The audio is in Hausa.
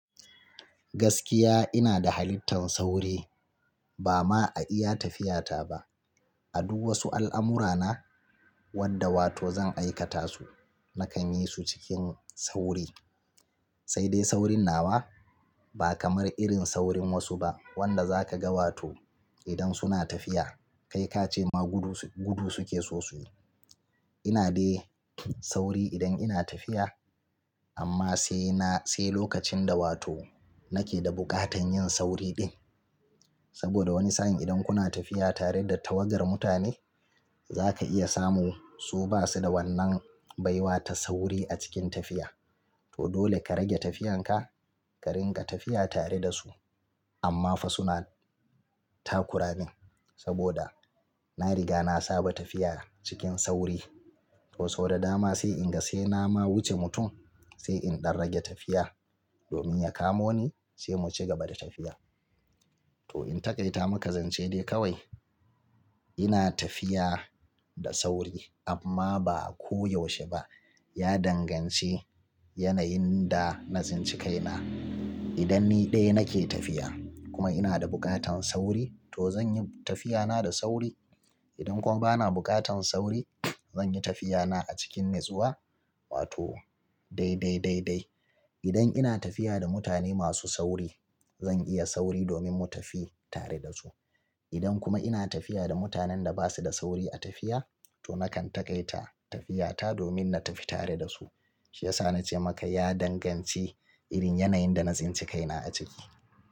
Gaskiya ina da halittan sauri ba ma a iya tafiyata ba. A duk wasu al'amurana wadda wato zan aikata su nakan yi su cikin sauri. Sai dai saurin nawa ba kamar irin saurin wasu ba wanda zaka ga wato idan suna tafiya kai kace ma gudu suke sosai. Ina dai sauri idan ina tafiya amma sai lokacin da wato nake da bukatan yin sauri din. Saboda wani sa'in idan kuna tafiya tare da tawagar mutane zaka iya samu su basu da wannan baiwata sauri a cikin tafiya. To dole ka rage tafiyanka ka ringa tafiya tare da su. Amma fa suna takuramin saboda na riga na saba tafiya cikin sauri. To sau da dama sai in ga sai na ma wuce mutum sai in ɗan rage tafiya domin ya kamo ni sai mu ci gaba da tafiya. To in taƙaita maka zance dai kawai ina tafiya da sauri amma ba ko yaushe ba. Ya danganci yanayin da na tsinci kaina. Idan ni dai nake tafiya kuma ina da bukatan sauri to zanyi tafiyana da sauri. Idan kuma bana bukatan sauri zanyi tafiyana a cikin natsuwa wato dai dai dai. Idan ina tafiya da mutane masu sauri zan iya sauri domin mu tafi tare da su. Idan kuma ina tafiya da mutanen da basu da sauri a tafiya to nakan taƙaita tafiyata domin na tafi tare da su. Shi yasa na ce maka ya danganci irin yanayin da na tsinci kaina a ciki.